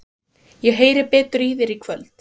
Ég heyri betur í þér í kvöld.